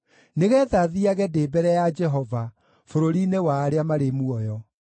nĩgeetha thiiage ndĩ mbere ya Jehova bũrũri-inĩ wa arĩa marĩ muoyo.